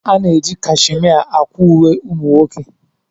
A na-eji cashimia akwa uwe ụmụ nwoke.